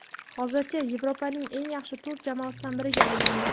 hozircha Yevropaning eng yaxshi to‘rt jamoasidan biriga aylandi.